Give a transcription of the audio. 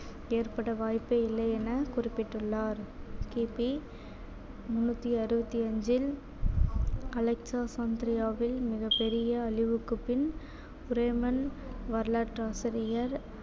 ஏற்பட வாய்ப்பே இல்லை என குறிப்பிட்டுள்ளார் கிபி முன்னூத்தி அறுபத்தி அஞ்சில் மிகப் பெரிய அழிவுக்குப் பின் வரலாற்று ஆசிரியர்